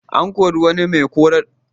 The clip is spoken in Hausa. An kori wani mai horar da ƴan wasan ƙwallon ƙafa.